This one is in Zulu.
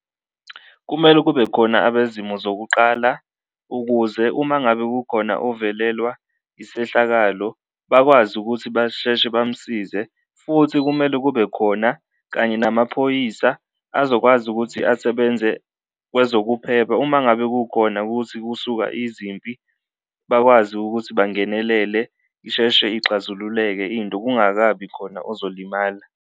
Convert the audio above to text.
Kumele kube khona abezimo zokuqala ukuze uma ngabe kukhona uvelelwa isehlakalo bakwazi ukuthi basheshe bamsize, futhi kumele kube khona kanye namaphoyisa azokwazi ukuthi asebenze kwezokuphepha. Uma ngabe kukhona kuthi kusuka izimpi bakwazi ukuthi bangenelele isheshe ixazululeke into kungakabi khona ozolimala.